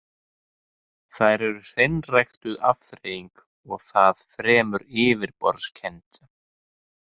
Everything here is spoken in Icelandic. Þær eru hreinræktuð afþreying og það fremur yfirborðskennd.